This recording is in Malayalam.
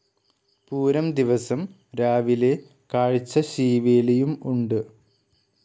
പൂരം ദിവസം രാവിലെ കാഴ്ച ശീവേലിയും ഉണ്ട്.